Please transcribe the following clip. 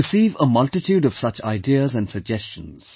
I receive a multitude of such ideas and suggestions